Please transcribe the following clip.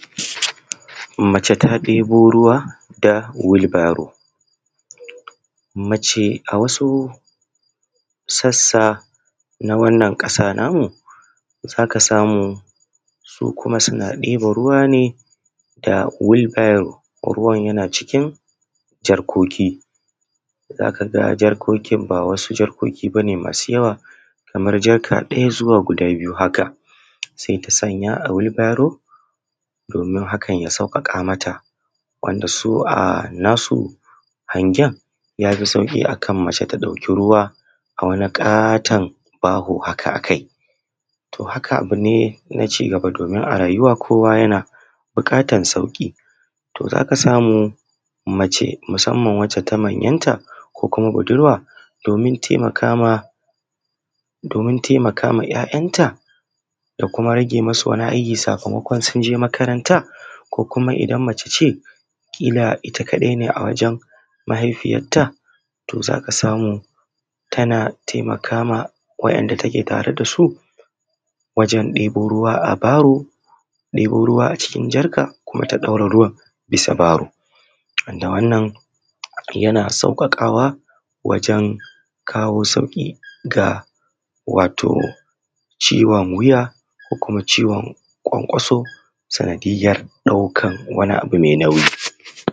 Mace ta debo ruwa a wilbaro. Mace a wasu sassa a kasar nan namu za ka ga sukuma suna mace ta debo ruwa a wilbaro a cikin jarkoki da bas u wuce daya ko biyu ba, ko kuma budurwa don taimaka ma ‘ya’yanta ake nomawa a yawancin yankuna masu zafi. aikin gona aikin jarumi ne muna ta kokari muna shirya gona kafin muyi shuka wannan abu ban a rago bane ba yana bukatan jajircewa domin aiki ne mai wahala za mu tsaya mu babbaza cikin gona, mu gyara shi mu sarrafa mu fitar da kunya yadda za mu ji dadin shuka. Hakika noma sana’a ce mai riba sai dai kuma malalaci ba zai iya ta ba domin tana bukatan isasshen lokaci sannan kuma tana bukatar a yi amfani da karfi, wasu suna amfani da manya motocin nan da suke taya su sai ya jujjuya shi ma’ana kenan shayi. Wannan ya taimakawa wajen kawo sauki daga ciwon wuya ko kwankwaso sanadiyyar daukan abu mai nauyi.